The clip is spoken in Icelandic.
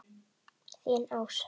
Þín Ása.